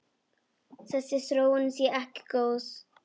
Þessi þróun sé ekki góð.